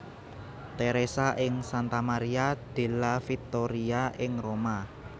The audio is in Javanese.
Theresa ing Santa Maria della Vittoria ing Roma